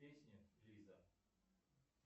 песня лиза